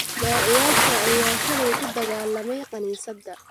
Daaciyaasha ayaa shalay ku dagaalamay kaniisadda